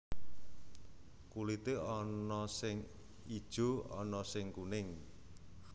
Kulité ana sing ijo ana sing kuning